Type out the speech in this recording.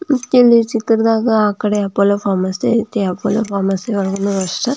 ಮತ್ತೆ ಈ ಚಿತ್ರದಾಗ ಆಕ್ಕಡೆ ಅಪೋಲೋ ಫಾರ್ಮಸಿ ಐತೆ ಅಪೋಲೋ ಫಾರ್ಮಸಿ ಒಳಗೆ --